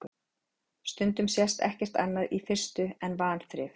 Stundum sést ekkert annað í fyrstu en vanþrif.